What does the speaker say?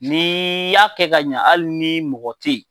N'i y'a kɛ ka ɲa hali ni mɔgɔ tɛ yen,